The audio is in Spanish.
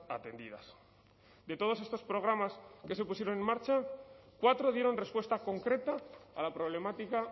atendidas de todos estos programas que se pusieron en marcha cuatro dieron respuesta concreta a la problemática